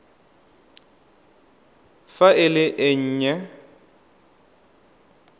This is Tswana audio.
fa e le e nnye